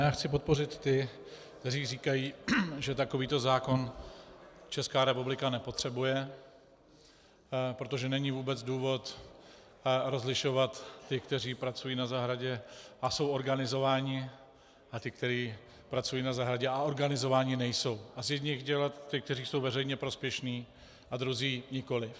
Já chci podpořit ty, kteří říkají, že takovýto zákon Česká republika nepotřebuje, protože není vůbec důvod rozlišovat ty, kteří pracují na zahradě a jsou organizováni, a ty, kteří pracují na zahradě a organizováni nejsou, a z jedněch dělat ty, kteří jsou veřejně prospěšní, a druzí nikoli.